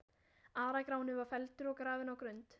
Ara-Gráni var felldur og grafinn á Grund.